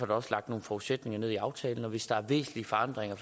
der også lagt nogle forudsætninger ned i aftalen og hvis der er væsentlige forandringer